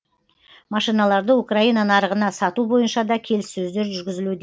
машиналарды украина нарығына сату бойынша да келіссөздер жүргізілуде